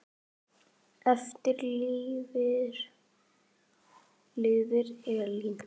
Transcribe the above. Eftir lifir Elín.